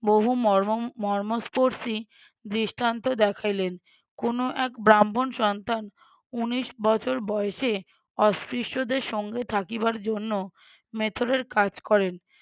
বহু মর্ম মর্মস্পর্শী দৃষ্টান্ত দেখাইলেন। কোনো এক ব্রাহ্মণ সন্তান উনিশ বছর বয়সে অস্পৃশ্যদের সঙ্গে থাকিবার জন্য মেথরের কাজ করেন